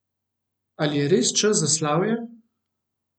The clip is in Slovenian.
Ali je res čas za slavje?